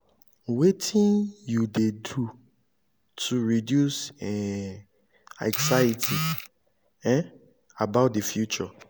wetin you dey do to reduce um anxiety um about di future?